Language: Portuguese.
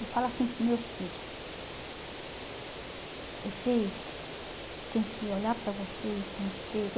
Eu falo assim para os meus filho, vocês têm que olhar para vocês no espelho.